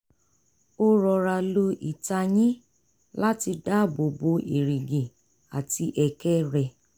ó rọra lo ìtayín láti dábò bo èrìgì àti ẹ̀kẹ́ rẹ̀